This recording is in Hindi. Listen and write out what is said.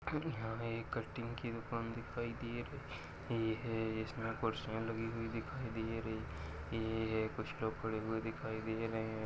हमें एक कटिंग की दुकान दिखाई दे रही है इसमे कुर्सिया लगी हुई दिखाई दे रही है कुछ लोग खड़े हुए दिखाई दे रहे हैं।